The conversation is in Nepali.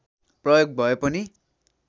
प्रयोग भए पनि